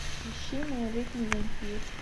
ищи малолетний вампир